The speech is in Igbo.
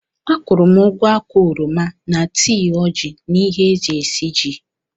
Akwụụrụ m ugwo ákwà oroma na tii ojii na ihe e ji esiji